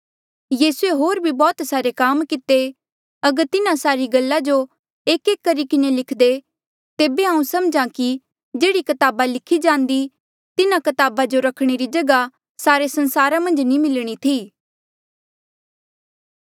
यीसूए होर भी बौह्त सारे काम किते अगर तिन्हा सारी गल्ला जो एकएक करी किन्हें लिखदे तेबे हांऊँ समझा कि जेह्ड़ी कताबा लिखी जांदी तिन्हा कताबा जो रखणे री जगहा सारे संसारा मन्झ भी नी मिलणी थी